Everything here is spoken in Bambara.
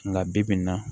Nka bibi in na